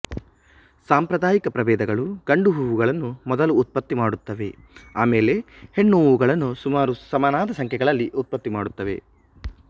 ಸಾಂಪ್ರದಾಯಿಕ ಪ್ರಭೇದಗಳು ಗಂಡು ಹೂವುಗಳನ್ನು ಮೊದಲು ಉತ್ಪತ್ತಿಮಾಡುತ್ತವೆ ಆಮೇಲೆ ಹೆಣ್ಣು ಹೂವುಗಳನ್ನು ಸುಮಾರು ಸಮನಾದ ಸಂಖ್ಯೆಗಳಲ್ಲಿ ಉತ್ಪತ್ತಿಮಾಡುತ್ತವೆ